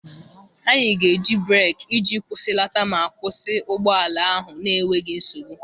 Anyị ga-eji breeki iji kwụsịlata ma kwụsị ụgbọ ala ahụ n'enweghị nsogbu.